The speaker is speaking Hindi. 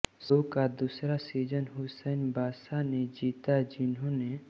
शो का दूसरा सीज़न हुसैन बाशा ने जीता जिन्होंने